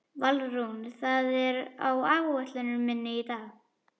Valrún, hvað er á áætluninni minni í dag?